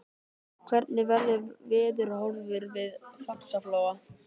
hvernig verður veðurhorfur við faxaflóa